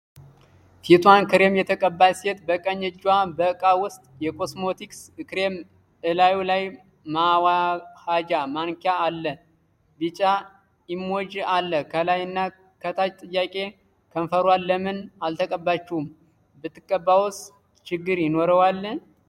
ፊቷን ክሬም የተቀባች ሴት በቀኝ እጇ በእቃ ውስጥ የኮስሞቲክስ ክሬም እላዩ ላይ ማዋኃጃ ማንኪያ አለ ቢጫ ኢሞጂ አለ ከላይ እና ከታች ጥያቄ:- ከንፈሯን ለምን አልተቀባችውም? ብትቀባውስ ችግር ይኖረዋል?